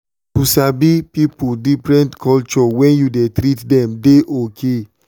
to sabi different people culture when you dey treat them dey okay and na very good thing.